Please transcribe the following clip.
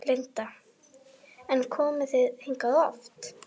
Linda: En komið þið hingað oft?